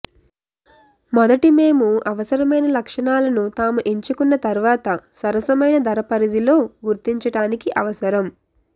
మొదటి మేము అవసరమైన లక్షణాలను తాము ఎంచుకున్న తర్వాత సరసమైన ధర పరిధిలో గుర్తించడానికి అవసరం